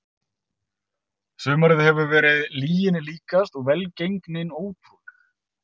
Sumarið hefur verið lyginni líkast og velgengnin ótrúleg.